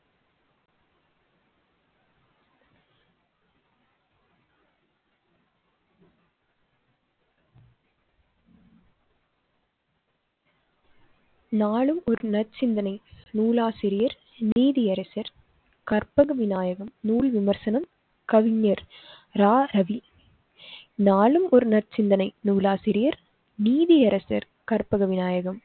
நாளும் ஒரு நற்சிந்தனை நூலாசிரியர் நீதியரசர் கற்பக விநாயகர் நூல் விமர்சனம் கவிஞர் ர. ரவி நாளும் ஒரு நற்சிந்தனை நூலாசிரியர், நீதியரசர் கற்பக விநாயகர்